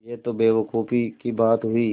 यह तो बेवकूफ़ी की बात हुई